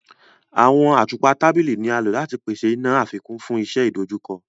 Awọn àtùpà tábìlì ní a ló láti pèsè iná àfikún fún iṣẹ idojukọ.